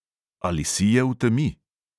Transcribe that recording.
Ali sije v temi?